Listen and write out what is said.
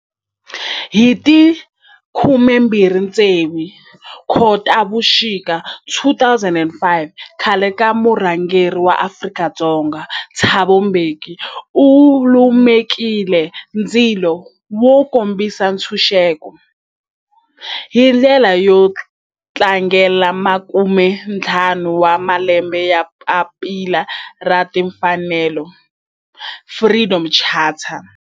Hi ti 26 Khotavuxika 2005 khale ka murhangeri wa Afrika-Dzonga Thabo Mbeki u lumekile ndzilo wo kombisa ntshuxeko, hi ndlela yo tlangela makumentlhanu wa malembe ya papila ra timfanelo, Freedom Charter.